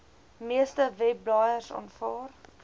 meeste webblaaiers aanvaar